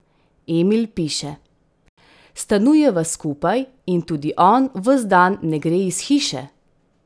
Emil piše: "Stanujeva skupaj in tudi on ves dan ne gre iz hiše.